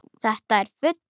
Þetta er fugl.